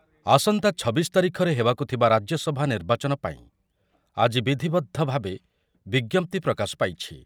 ଆସନ୍ତା ଛବିଶ ତାରିଖରେ ହେବାକୁଥିବା ରାଜ୍ୟସଭା ନିର୍ବାଚନ ପାଇଁ ଆଜି ବିଧବଦ୍ଧ ଭାବେ ବିଜ୍ଞପ୍ତି ପ୍ରକାଶ ପାଇଛି ।